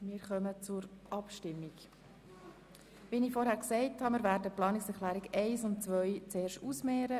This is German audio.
Wir stellen zuerst die Planungserklärung 1 der Planungserklärung 2 gegenüber, da beide die Massnahme 44.2.8 betreffen.